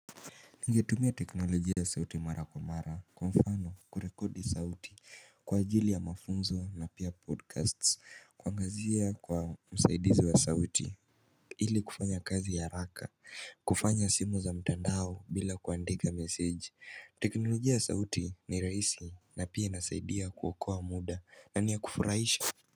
Ningetumia teknolojia sauti mara kwa mara kwa mfano kurekodi sauti kwa ajili ya mafunzo na pia podcasts kwangazia kwa msaidizi wa sauti Hili kufanya kazi ya haraka kufanya simu za mtandao bila kuandika meseji teknolojia ya sauti ni raisi na pia inasaidia kuokoa muda na niya kufuraisha.